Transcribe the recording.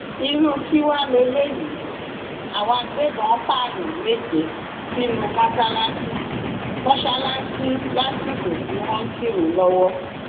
irú kí wàá lélẹyìí àwọn agbébọn pààyàn méje sínú mọṣáláṣí mọṣáláṣí lásìkò tí wọn ń kírun lọwọ